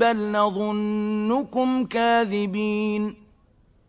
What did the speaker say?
بَلْ نَظُنُّكُمْ كَاذِبِينَ